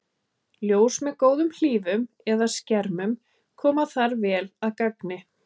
Ljós með góðum hlífum eða skermum koma þar vel að gagni.